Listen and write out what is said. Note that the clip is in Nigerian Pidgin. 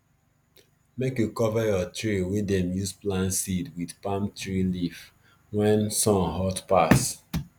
make you cover your tray wey dem use plant seed with palm tree leaf when sun hot pass